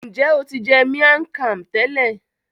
Njẹ o ti jẹ miang Kham tẹlẹ?